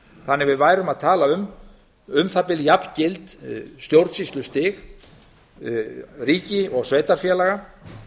þannig að við værum að tala um um það bil jafngild stjórnsýslustig ríkis og sveitarfélaga